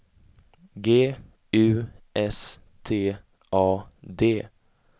G U S T A D